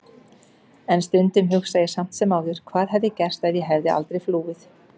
En stundum hugsa ég samt sem áður hvað hefði gerst ef ég hefði aldrei flúið.